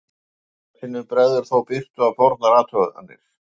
Einstaka sinnum bregður þó birtu á fornar athuganir.